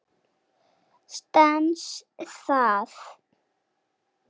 Stenst það?